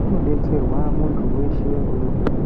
kunodetserwa muntu weshe une hosha.